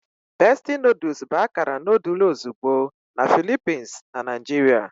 Bestie noodles bụ akara noodle ozugbo na Philippines na Naijiria.